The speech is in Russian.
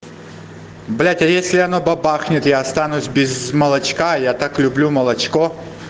блять а если она бабахнет я останусь без молочка я так люблю молочко